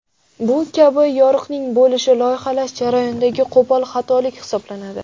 Bu kabi yoriqning bo‘lishi loyihalash jarayonidagi qo‘pol xatolik hisoblanadi.